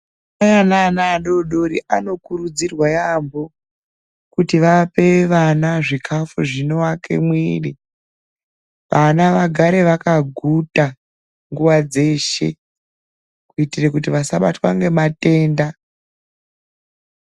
Madzimai ane ana adoodori anokurudzirwa yaamho kuti vape vana zvikafu zvinoake mwiri. Vana vagare vakaguta nguwa dzeshe kuitira kuti vasabatwe ngematenda.